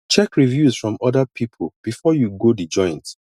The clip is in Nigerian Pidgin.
check reviews from oda pipo before you go di joint